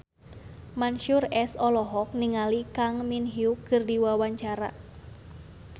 Mansyur S olohok ningali Kang Min Hyuk keur diwawancara